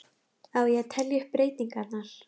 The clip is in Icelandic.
Á ég að telja upp breytingarnar?